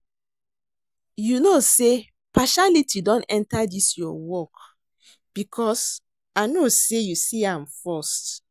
You no say partiality don enter dis your work because I know say you see me first